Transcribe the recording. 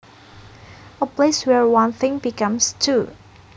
A place where one thing becomes two